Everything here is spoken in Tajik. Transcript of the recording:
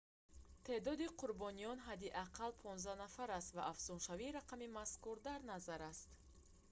теъдоди қурбониён ҳадди ақалл 15 нафар аст ва афзуншавии рақами мазкур дар назар аст